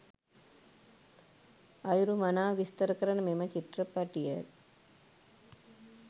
අයුරු මනාව විස්තර කරන මෙම චිත්‍රපටිය.